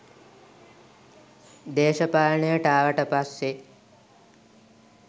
දේශපාලනයට ආවට පස්සේ